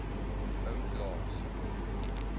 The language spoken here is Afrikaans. ou klaas